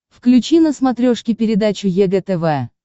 включи на смотрешке передачу егэ тв